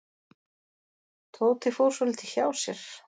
Tóti fór svolítið hjá sér.